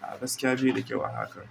A gaskiya bai da kyau a hakan.